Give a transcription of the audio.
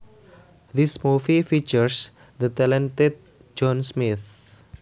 This movie features the talented John Smith